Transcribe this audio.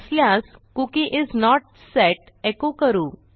नसल्यास cookie is not set echo करू